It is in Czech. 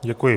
Děkuji.